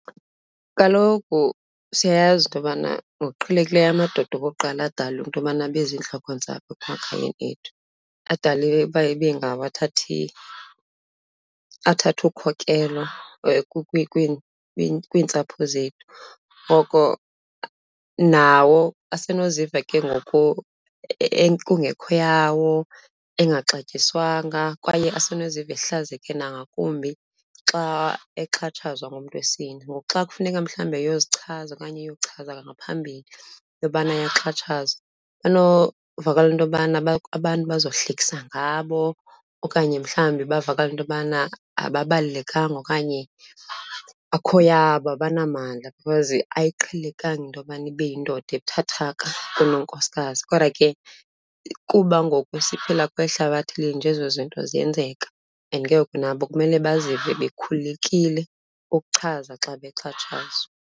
Kaloku siyayazi into yobana ngokuqhelekileyo amadoda okokuqala adalwe into yobana beziintlokontsapho emakhayeni ethu, adalwe uba ibe ngabo athatha athatha ukhokelo kwiintsapho zethu. Ngoko nawo asenoziva ke ngoku kungekho yawo, engangaxatyiswanyanga kwaye asinoziva ehlazekile nangakumbi xa exhatshazwa ngumntu wesini. Ngoku xa kufuneka mhlawumbi eyozichaza okanye eyochaza ngaphambili into yobana ayaxhatshazwa banovakalelwa into yobana abantu bazohlekisa ngabo okanye mhlawumbi bavakala into yobana ababalulekanga okanye akukho yabo, abanamandla because ayiqhelekanga into yokubana ibe yindoda ebuthathaka kunonkosikazi. Kodwa ke kuba ngoku siphila kweli hlabathi linje, ezo zinto ziyenzeka and ke ngoku nabo kumele bazive bekhululekile ukuchaza xa bexhatshazwa.